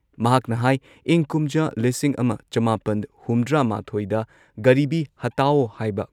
ꯃꯍꯥꯛꯅ ꯍꯥꯏ ꯏꯪ ꯀꯨꯝꯖꯥ ꯂꯤꯁꯤꯡ ꯑꯃ ꯆꯃꯥꯄꯟ ꯍꯨꯝꯗ꯭ꯔꯥꯃꯥꯊꯣꯏꯗ ꯒꯔꯤꯕꯤ ꯍꯇꯥꯎ ꯍꯥꯏꯕ